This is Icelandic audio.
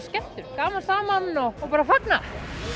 skemmtun gleðjast saman og fagna